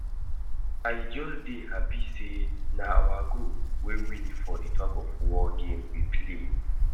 I just dey happy say na our group wey win for the tug of war game we play